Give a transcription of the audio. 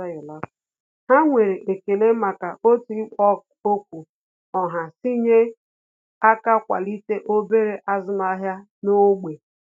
Há nwere ekele màkà otú ikpo okwu ọha sí nyere aka kwalite obere ázụ́màhị́à n’ógbè.